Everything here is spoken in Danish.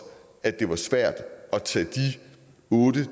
at det var svært at tage de otte